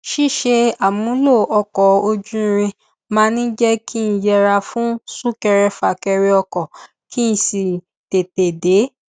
ṣíṣe àmúlò ọkọ ojú irin máa ń jẹ kí n yẹra fún súnkẹrẹfàkẹrẹ ọkọ kí n sì tètè dé